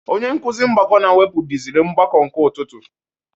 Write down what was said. Onye nkụzi mgbakọ na mwepụ duziri mgbakọ ụtụtụ